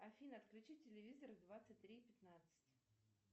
афина отключи телевизор в двадцать три пятнадцать